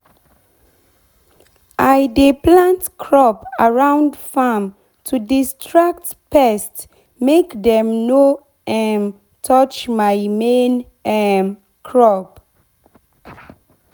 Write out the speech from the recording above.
i dey plant crop around farm to distract pest make dem no um touch my main um crop.